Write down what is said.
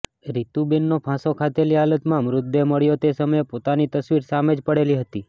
રિતુબેનનો ફાંસો ખાધેલી હાલતમાં મૃતદેહ મળ્યો તે સમયે પિતાની તસવીર સામે જ પડેલી હતી